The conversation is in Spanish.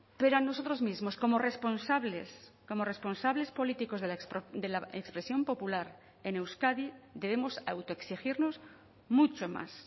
pero a nosotros mismos como responsables como responsables políticos de la expresión popular en euskadi debemos autoexigirnos mucho más